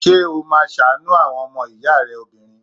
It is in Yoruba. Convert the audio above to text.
Ṣé́ ó máa ṣàánú àwọn ọmọ ìyá obìnrin?